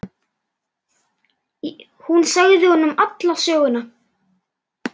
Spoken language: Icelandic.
Hún sagði honum alla söguna.